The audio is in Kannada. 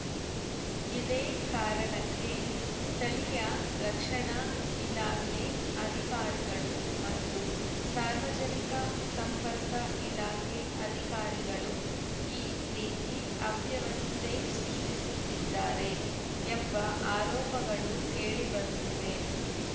ಇದೇ ಕಾರಣಕ್ಕೆ ಸ್ಥಳೀಯ ರಕ್ಷಣಾ ಇಲಾಖೆ ಅಧಿಕಾರಿಗಳು ಮತ್ತು ಸಾರ್ವಜನಿಕ ಸಂಪರ್ಕ ಇಲಾಖೆ ಅಧಿಕಾರಿಗಳು ಈ ರೀತಿ ಅವ್ಯವಸ್ಥೆ ಸೃಷ್ಟಿಸುತ್ತಿದ್ದಾರೆ ಎಂಬ ಆರೋಪಗಳು ಕೇಳಿಬರುತ್ತಿವೆ